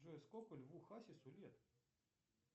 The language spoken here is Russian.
джой сколько льву хасису лет